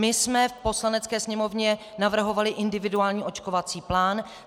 My jsme v Poslanecké sněmovně navrhovali individuální očkovací plán.